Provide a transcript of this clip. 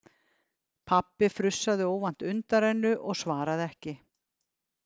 Pabbi frussaði óvænt undanrennu og svaraði ekki.